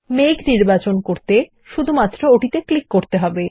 মেঘ নির্বাচন করতে শুধুমাত্র ওটিতে ক্লিক করতে হবে